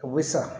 U bɛ sa